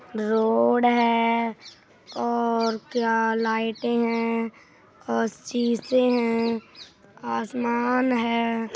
Road है और क्या लाइटे हैं और सीसे हैं आसमान है।